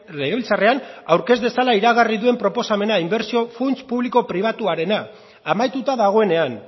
legebiltzarrean aurkez dezala iragarri duen proposamena inbertsio funts publiko pribatuarena amaituta dagoenean